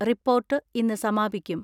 Report ഇന്ന് സമാപിക്കും.